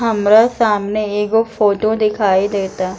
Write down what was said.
हमरा सामने एगो फोटो दिखाई देएता।